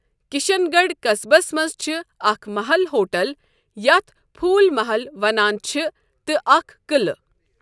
كِشن گڈھ قسبس منز چھِ اكھ محل ہوٹل یتھ پھوٗل محل ونان چھِ تہٕ اكھ قعلہٕ ۔